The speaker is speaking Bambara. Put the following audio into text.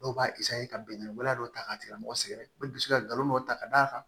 Dɔw b'a ka bingani waleya dɔw ta k'a tigilamɔgɔ sɛgɛrɛ u bɛ dusu kalon dɔ ta ka d'a kan